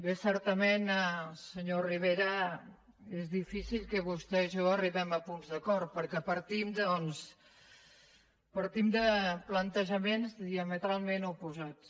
bé certament senyor rivera és difícil que vostè i jo arribem a punts d’acord perquè partim doncs de plantejaments diametralment oposats